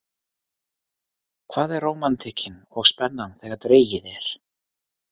Hvar er rómantíkin og spennan þegar dregið er?